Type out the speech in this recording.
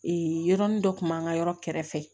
yɔrɔnin dɔ kun b'an ka yɔrɔ kɛrɛfɛ